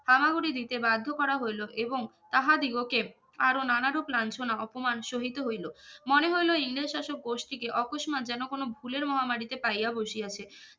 হামাগুড়ি দিতে বাধ্য করা হইল এবং তাহাদিগকে আর নানারূপ লাঞ্ছনা অপমান সহিত হইলো মনে হইলো ইংরেজ শাসক গোষ্ঠীকে অকস্মাৎ যেন কোনো ভুলের মহামারীতে পাইয়া বসিয়াছে